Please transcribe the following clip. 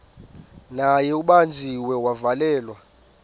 naye ubanjiwe wavalelwa